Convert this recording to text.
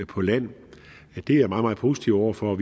på land det er jeg meget meget positiv over for